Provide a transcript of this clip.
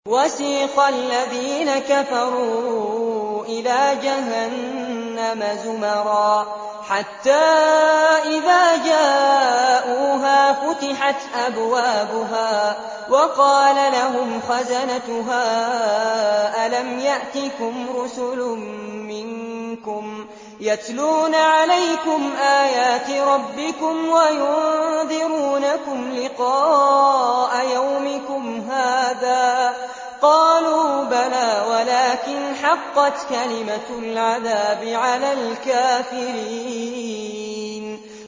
وَسِيقَ الَّذِينَ كَفَرُوا إِلَىٰ جَهَنَّمَ زُمَرًا ۖ حَتَّىٰ إِذَا جَاءُوهَا فُتِحَتْ أَبْوَابُهَا وَقَالَ لَهُمْ خَزَنَتُهَا أَلَمْ يَأْتِكُمْ رُسُلٌ مِّنكُمْ يَتْلُونَ عَلَيْكُمْ آيَاتِ رَبِّكُمْ وَيُنذِرُونَكُمْ لِقَاءَ يَوْمِكُمْ هَٰذَا ۚ قَالُوا بَلَىٰ وَلَٰكِنْ حَقَّتْ كَلِمَةُ الْعَذَابِ عَلَى الْكَافِرِينَ